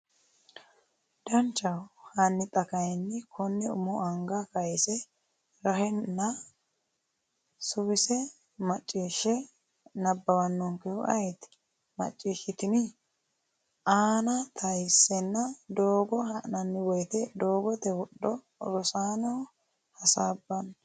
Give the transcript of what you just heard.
Danchaho, hanni xa kayinni konne umo anga kayise rahenna suwise • Macciishsha nabbawannonkehu ayeeti? macciishshitini? aana tayissanna Doogo ha’nanni woyte doogote wodho Rosaano, hasaabbini?